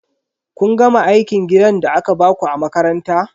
Kun gama aikin gidan da aka baku a makaranta?